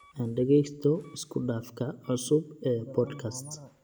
Aan dhagaysto isku dhafka cusub ee podcasts